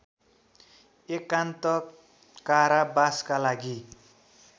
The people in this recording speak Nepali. एकान्त कारावासका लागि